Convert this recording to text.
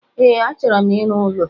E, achọro m ịrụ ụlọ